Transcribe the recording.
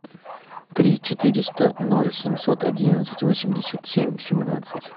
три четыреста ноль семьсот одиннадцать восемьдесят семь семнадцать